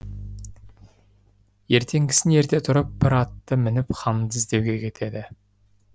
ертеңгісін ерте тұрып бір атты мініп ханды іздеуге кетеді